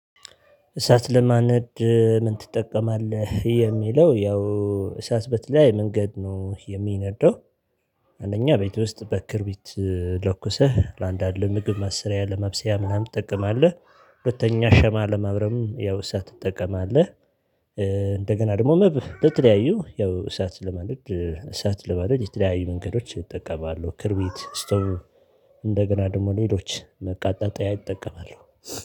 እሳት ለማንደድ ምን ትጠቀማለህ የሚለው ያው እሳት በተለያየ መንገድ ነው የሚነደው። አንደኛ ቤት ውስጥ በክርቢት ለኩሰህ ለአንዳንድ ለምግብ መስሪያ ለማብሰያ ምናምን ትጠቀማለህ። ሁለተኛ ሻማ ለማብራትም ያው እሳት ትጠቀማለህ። እንደገና ደግሞ መብህ ለተለያዩ ያው እሳት ለማንደድ እሳት ለማንደድ የተለያዩ መንገዶች ይጠቀማሉ ክርቢት ስቶቭ። እንደገና ደግሞ ሌሎች ማቀጣጠያ ይጠቀማሉ።